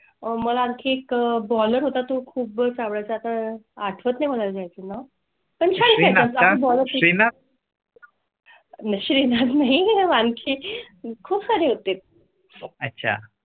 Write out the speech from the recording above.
अह मला आणखी baller होता. तो खूप चांगल्या आता आठवत नाही मला जाय चं पण. . शी नाही आणखी खूप सारी होते. अच्छा.